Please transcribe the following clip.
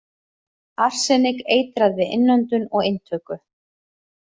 Arsenik- Eitrað við innöndun og inntöku.